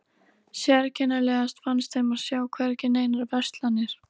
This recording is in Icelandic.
Sérkennilegast fannst þeim að sjá hvergi neinar verslanir.